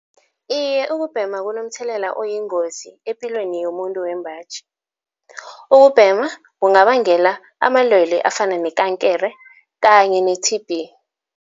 Iye ukubhema kunomthelela oyingozi epilweni yomuntu wembaji. Ukubhema kungabangela amalwele afana nekankere kanye ne-T_B.